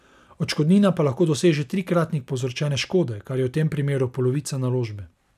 Odškodnina pa lahko doseže trikratnik povzročene škode, kar je v tem primeru polovica naložbe.